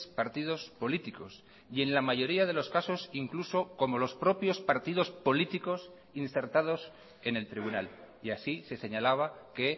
partidos políticos y en la mayoría de los casos incluso como los propios partidos políticos insertados en el tribunal y así se señalaba que